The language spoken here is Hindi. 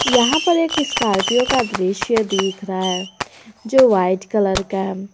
यहां पर एक स्कॉर्पियो का दृश्य देख रहा है जो वाइट कलर का है।